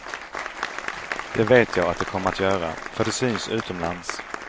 Det vet jag att det kommer att göra, för det syns utomlands.